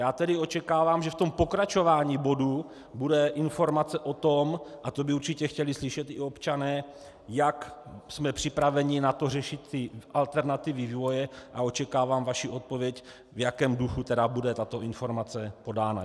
Já tedy očekávám, že v tom pokračování bodu bude informace o tom, a to by určitě chtěli slyšet i občané, jak jsme připraveni na to, řešit ty alternativy vývoje, a očekávám vaši odpověď, v jakém duchu tedy bude tato informace podána.